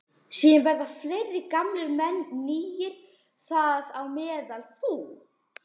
Síðan verða fleiri gamlir menn nýir, þar á meðal þú.